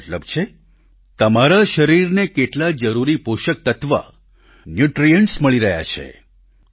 તેનો મતલબ છે તમારા શરીરને કેટલા જરૂરી પોષક તત્વ ન્યૂટ્રિઅન્ટ્સ મળી રહ્યા છે